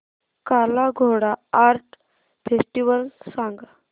काला Ghoda art festival सांग